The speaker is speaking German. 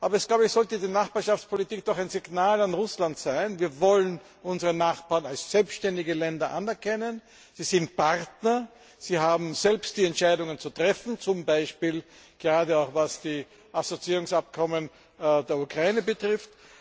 Aber ich glaube, die Nachbarschaftspolitik sollte doch ein Signal an Russland sein Wir wollen unsere Nachbarn als selbständige Länder anerkennen. Sie sind Partner, sie haben selbst die Entscheidungen zu treffen, zum Beispiel gerade auch, was die Assoziierungsabkommen der Ukraine betrifft.